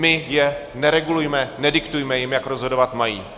My je neregulujme, nediktujme jim, jak rozhodovat mají.